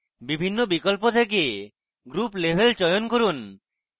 বিভিন্ন বিকল্প থেকে group level চয়ন করুন